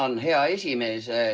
Tänan, hea esimees!